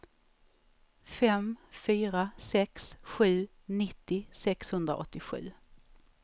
fem fyra sex sju nittio sexhundraåttiosju